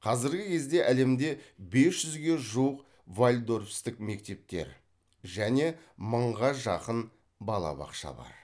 қазіргі кезде әлемде бес жүзге жуық вальдорфстік мектептер және мыңға жақын балабақша бар